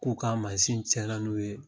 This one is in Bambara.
K'u ka cɛn na n'u ye